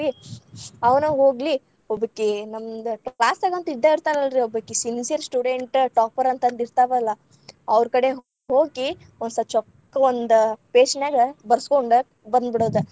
ಅವ್ನ ಹೋಗ್ಲಿ ಒಬ್ಬಕಿ ನಮ್ದ್‌ class ‌ ದಾಗ ಅಂತೂ ಇದ್ದ ಇರ್ತಾರಲ್ರಿ ಒಬ್ಬಕಿ sincere student topper ಅಂತ ಅಂದ ಇರ್ತಾವಲ್ಲಾ ಅವ್ರ ಕಡೆ ಹೋಗಿ ಓಸ್ ಚೊಕ್ಕ ಒಂದ್ page ‌ ನ್ಯಾಗ ಬರಸ್ಕೊಂಡ್‌ ಬಂದಬೀಡೋದ್.‌